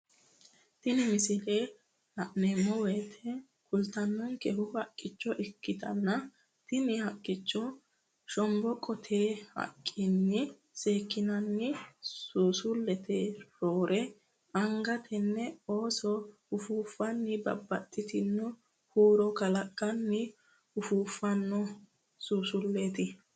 Tini misile la'neemmoti kultannonkehu haqqicho ikkitanna tinni haqqichono shomboqqote haqqinni seekkinoonni suusulleeti roore anga tenne ooso ufuuffanni babbaxitino huuro kalaqqanni ufuuffanno suusulleeti.